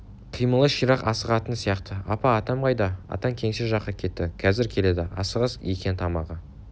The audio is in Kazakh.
қимылы ширақ асығатын сияқты апа атам қайда атаң кеңсе жаққа кетті қазір келеді асығыс екен тамағы